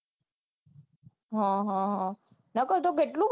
હમ હમ હમ નકર